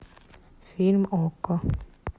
фильм окко